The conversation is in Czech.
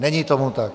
Není tomu tak.